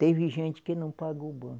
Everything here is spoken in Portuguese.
Teve gente que não pagou o banco.